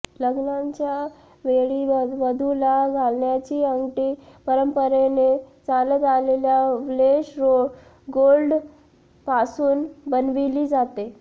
लग्नाच्या वेळी वधूला घालण्याची अंगठी परंपरेने चालत आलेल्या वेल्श गोल्ड पासून बनविली जाते